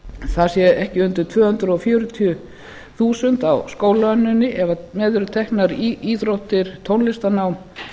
það sé ekki undir tvö hundruð fjörutíu þúsund á skólaönninni ef með eru teknar íþróttir tónlistarnám